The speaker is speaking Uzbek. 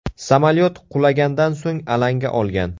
Samolyot qulagandan so‘ng alanga olgan.